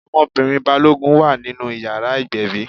Ọmọbìnrin Balógun wà nínú ìyàrá ìgbẹ̀bí.